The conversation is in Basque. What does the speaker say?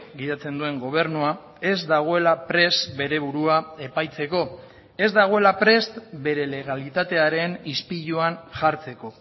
gidatzen duen gobernua ez dagoela prest bere burua epaitzeko ez dagoela prest bere legalitatearen ispiluan jartzeko